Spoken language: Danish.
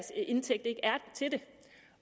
til det